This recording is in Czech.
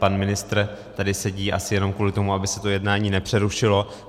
Pan ministr tady sedí asi jenom kvůli tomu, aby se to jednání nepřerušilo.